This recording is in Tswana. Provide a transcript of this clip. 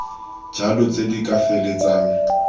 jalo tse di ka feleltsang